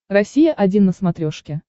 россия один на смотрешке